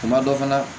Tuma dɔ fana